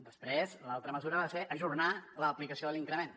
després l’altra mesura va ser ajornar l’aplicació de l’increment